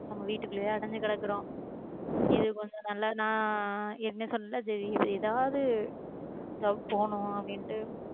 நம்ம வீட்டுக்குள்ளேயே அடைஞ்சு கிடக்கிறோம் இது கொஞ்சம் நல்லாதான் ஆஹ் என்ன சொன்னது எதாவது work போகணும் அப்படின்னுட்டு